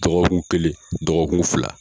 Dɔgɔkun kelen dɔgɔkun fila